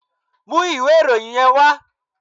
Mú ìwé ìròyìn yẹn wá!